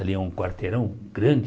Ali um quarteirão grande.